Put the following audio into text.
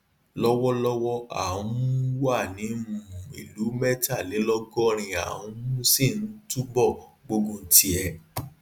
lọwọlọwọ a um wà ní um ìlú mẹtàlélọgọrin a um sì ń túbọ gbógun ti ẹ